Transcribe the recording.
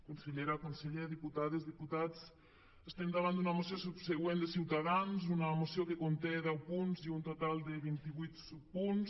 consellera conseller diputades diputats estem davant d’una moció subsegüent de ciutadans una moció que conté deu punts i un total de vinti vuit subpunts